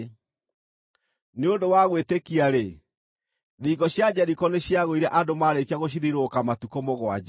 Nĩ ũndũ wa gwĩtĩkia-rĩ, thingo cia Jeriko nĩciagũire andũ maarĩkia gũcithiũrũrũka matukũ mũgwanja.